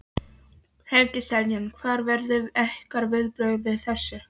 Helgi Seljan: Hver verða ykkar viðbrögð við þessu?